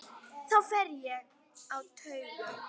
Þá fer ég á taugum.